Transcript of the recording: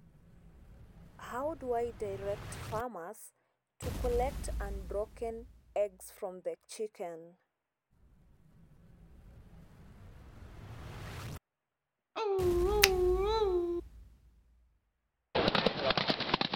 How do i direct farmers to collect unbroken eggs from the chicken?